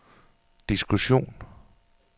diskussion